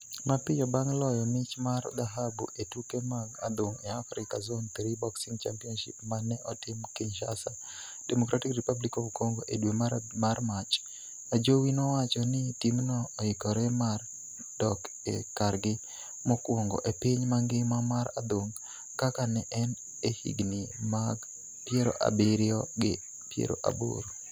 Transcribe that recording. Mapiyo bang' loyo mich mar dhahabu e tuke mag adhong' e Afrika Zone Three Boxing Championships ma ne otim Kinshasa, Democratic Republic of Congo e dwe mar Mach, Ajowi nowacho ni timno oikore mar dok e kargi mokwongo e piny mangima mar adhong' kaka ne en e higni mag piero abiriyo gi piero aboro.